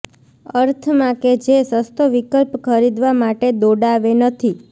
અર્થમાં કે જે સસ્તો વિકલ્પ ખરીદવા માટે દોડાવે નથી